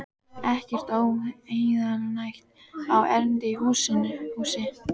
Ekkert óheilnæmt á erindi í húsið.